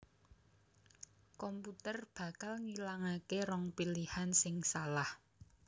komputer bakal ngilangaké rong pilihan sing salah